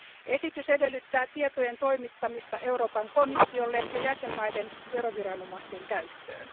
Esitys edellyttää tietojen toimittamista Euroopan komissiolle ja jäsenvaltioiden veroviranomaisten käyttöön.